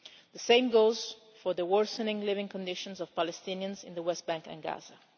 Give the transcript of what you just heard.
The same goes for the worsening living conditions of Palestinians in the West Bank and Gaza.